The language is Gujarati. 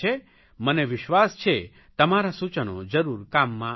મને વિશ્વાસ છે તમારાં સૂચનો જરૂર કામમાં આવશે